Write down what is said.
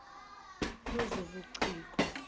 wezobuciko